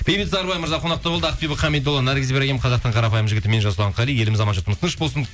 бейбіт сарыбай мырза қонақта болды ақбибі хамидолла наргиз ибрагим қазақтың қарапайым жігіті мен жасұлан қали еліміз аман жұртымыз тыныш болсын